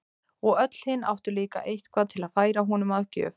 Og öll hin áttu líka eitthvað til að færa honum að gjöf.